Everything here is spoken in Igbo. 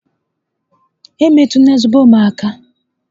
E metụla zobo m aka!